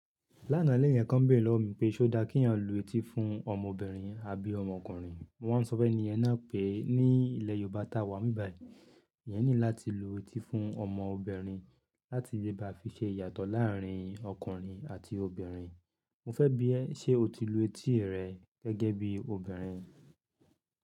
Lánà lẹ́yan kan béèrè lọ́wọ́ mi pé, ṣe ó dá kí ènìyàn lu etí fún ọmọbìnrin àbí ọmọkùnrin? Mo wá sọ fẹ́ ẹni ẹna pé ní ilé Yorùbá ta wá nbibayi, eyan ni láti lu etí fún ọmọbìnrin láti bí bá fi ṣe ìyàtọ̀ láàárín ọkùnrin àti obìnrin. Mo fẹ́ bí ẹ ṣe o ti lu etí rẹ gẹ́gẹ́ bí obìnrin.